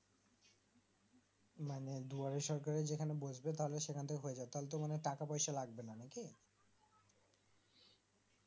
মানে দুবারের সরকার যেখানে বসবে তাহলে সেখান টাই হয়ে যায় তাহলে তো টাকা পয়সা লাগবেনা নাকি